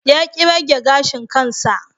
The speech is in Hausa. Ya ki rage gashin kansa.